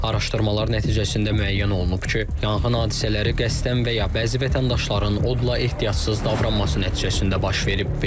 Araşdırmalar nəticəsində müəyyən olunub ki, yanğın hadisələri qəsdən və ya bəzi vətəndaşların odla ehtiyatsız davranması nəticəsində baş verib.